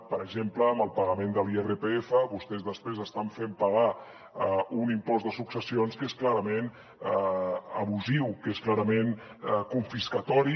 per exemple amb el pagament de l’irpf vostès després estan fent pagar un impost de successions que és clarament abusiu que és clarament confiscatori